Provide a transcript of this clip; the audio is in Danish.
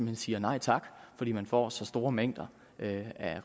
hen siger nej tak fordi man får så store mængder af